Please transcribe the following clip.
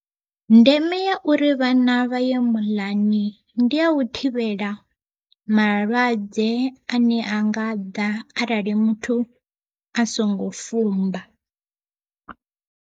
Ndeme ya uri vhana vhaye muḽani, ndi ya u thivhela malwadze ane a nga ḓa arali muthu a songo fumba.